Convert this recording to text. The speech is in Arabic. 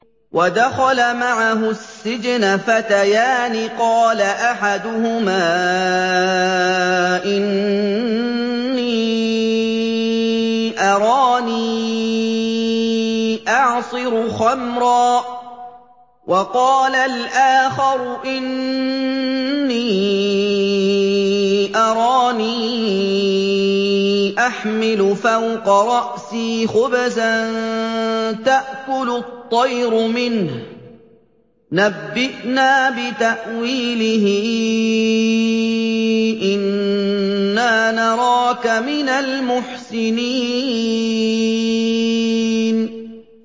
وَدَخَلَ مَعَهُ السِّجْنَ فَتَيَانِ ۖ قَالَ أَحَدُهُمَا إِنِّي أَرَانِي أَعْصِرُ خَمْرًا ۖ وَقَالَ الْآخَرُ إِنِّي أَرَانِي أَحْمِلُ فَوْقَ رَأْسِي خُبْزًا تَأْكُلُ الطَّيْرُ مِنْهُ ۖ نَبِّئْنَا بِتَأْوِيلِهِ ۖ إِنَّا نَرَاكَ مِنَ الْمُحْسِنِينَ